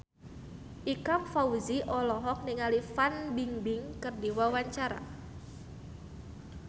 Ikang Fawzi olohok ningali Fan Bingbing keur diwawancara